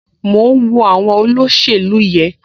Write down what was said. Mò ń wo àwọn olóṣèlú yẹn